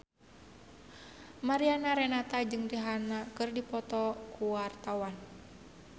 Mariana Renata jeung Rihanna keur dipoto ku wartawan